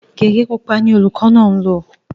Gégé pupa ni olùkọ́ náà ń lò